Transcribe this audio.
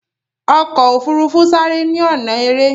ofurufu sare ni ọnà èrè.